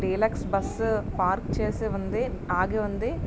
Deluxe bus park చేసివుంది. ఆగి ఉంది.